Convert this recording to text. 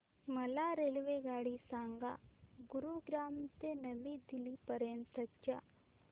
मला रेल्वेगाडी सांगा गुरुग्राम ते नवी दिल्ली पर्यंत च्या